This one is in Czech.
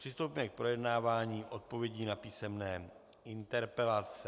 Přistoupíme k projednávání odpovědí na písemné interpelace.